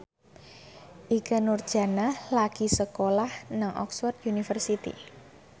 Ikke Nurjanah lagi sekolah nang Oxford university